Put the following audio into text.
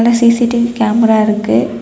CC TV camera இருக்குது.